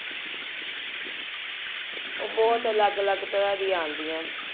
ਉਹ ਬਹੁਤ ਅਲੱਗ ਅਲੱਗ ਟਰਾ ਦੀਆ ਆਂਦੀਆਂ